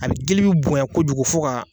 A be gili be bonya kojugu fo ga